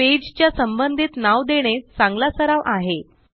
page च्या संबंधित नाव देणे चांगला सराव आहे